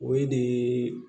O ye de